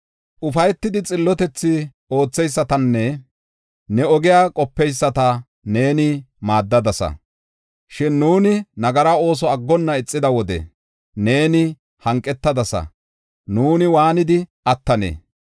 Ufaytidi xillotethi ootheysatanne ne ogiya qopeyisata neeni maaddadasa. Shin nuuni nagara ooso aggonna ixida wode neeni hanqetadasa; nuuni waanidi attanee?